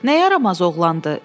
Nə yaramaz oğlandır?